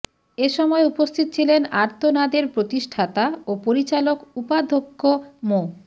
এ সময় উপস্থিত ছিলেন আর্তনাদের প্রতিষ্ঠাতা ও পরিচালক উপাধ্যক্ষ মো